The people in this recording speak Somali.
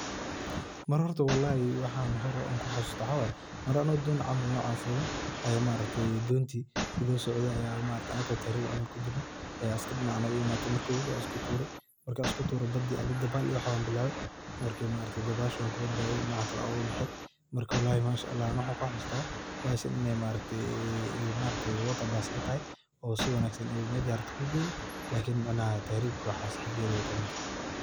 Mar horto walahi waxan ku hasusta maxa waye, mar horto anoo don fulo aya maaragte donti anako tahrib camal kujirno, ayaa askar dinaca noga imade marka wabiga ayan isku ture ,markan isku ture badii dabal iyo wax ayan bilawe mesha wanku badbade oo dinaca kale ayan oga behe marka walahi aniga waxan ka hasusta bahashan iney water bus iney tahay oo si wanagsan meja rabto ay ku geyni lakin tahrib iyo waxas hageda wey ku huntahay.